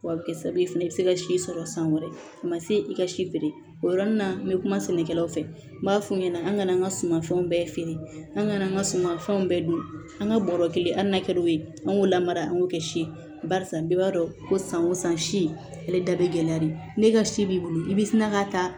A bɛ kɛ sababu ye fɛnɛ i bɛ se ka si sɔrɔ san wɛrɛ a ma se i ka si feere o yɔrɔnin na n bɛ kuma sɛnɛkɛlaw fɛ n b'a f'u ɲɛna an ŋana an ŋa suman fɛnw bɛɛ feere an gana an ga suman fɛnw bɛɛ don an ga bɔrɔ kelen a n'a kɛ o ye an k'o lamara an k'o kɛ si ye barisa bɛɛ b'a dɔn ko san o san si ale da be gɛlɛya de ne ka si b'i bolo i bɛ sina ka taa